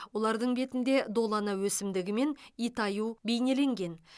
олардың бетінде долана өсімдігі мен итаю бейнеленген